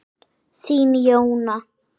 Þín Jóna.